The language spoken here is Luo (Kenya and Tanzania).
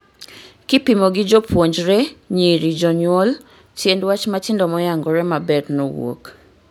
Kipimo gi jopuonjre, nyiri, jonyuol, tiend wach matindo moyangore maber nowuok